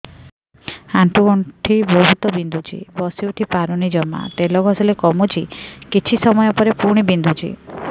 ଆଣ୍ଠୁଗଣ୍ଠି ବହୁତ ବିନ୍ଧୁଛି ବସିଉଠି ପାରୁନି ଜମା ତେଲ ଘଷିଲେ କମୁଛି କିଛି ସମୟ ପରେ ପୁଣି ବିନ୍ଧୁଛି